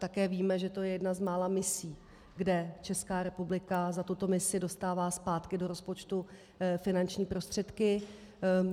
Také víme, že to je jedna z mála misí, kde Česká republika za tuto misi dostává zpátky do rozpočtu finanční prostředky.